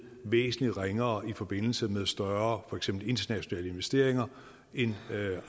væsentligt ringere i forbindelse med større for eksempel internationale investeringer end